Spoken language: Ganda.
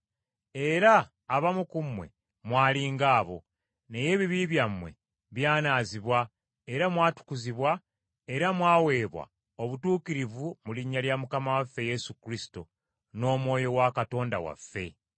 Era abamu ku mmwe mwali nga bo, naye ebibi byammwe byanaazibwa era mwatukuzibwa era mwaweebwa obutuukirivu mu linnya lya Mukama waffe Yesu Kristo n’Omwoyo wa Katonda waffe.